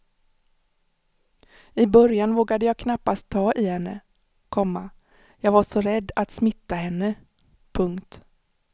I början vågade jag knappt ta i henne, komma jag var så rädd att smitta henne. punkt